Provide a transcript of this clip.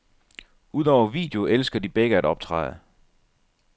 Udover video elsker de begge at optræde.